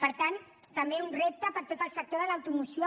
per tant també un repte per a tot el sector de l’automoció